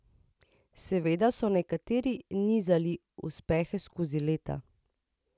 Seveda so nekateri nizali uspehe skozi leta.